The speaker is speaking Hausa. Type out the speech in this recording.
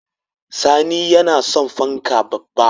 Sani yana son fanka babba